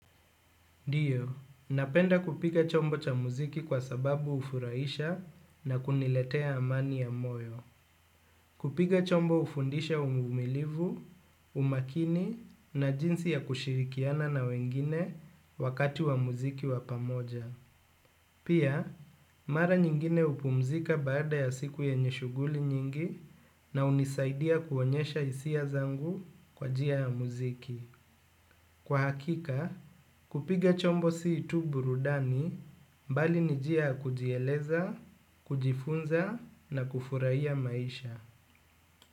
Ndio, napenda kupiga chombo cha muziki kwa sababu hufurahisha na kuniletea amani ya moyo. Kupiga chombo hufundisha uvumilivu, umakini na jinsi ya kushirikiana na wengine wakati wa muziki wa pamoja. Pia, mara nyingine hupumzika baada ya siku yenye shughuli nyingi na hunisaidia kuonyesha hisia zangu kwa njia ya muziki. Kwa hakika, kupiga chombo si tu burudani bali ni njia ya kujieleza, kujifunza na kufurahia maisha.